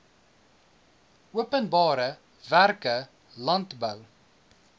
openbare werke landbou